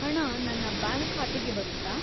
ಹಣ ನನ್ನ ಬ್ಯಾಂಕ್‌ ಖಾತೆಗೆ ಬರುತ್ತಾ?